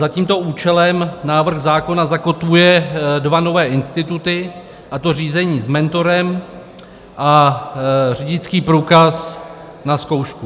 Za tímto účelem návrh zákona zakotvuje dva nové instituty, a to řízení s mentorem a řidičský průkaz na zkoušku.